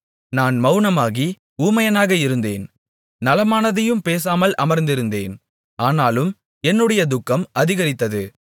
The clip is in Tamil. நான் மவுனமாகி ஊமையனாக இருந்தேன் நலமானதையும் பேசாமல் அமர்ந்திருந்தேன் ஆனாலும் என்னுடைய துக்கம் அதிகரித்தது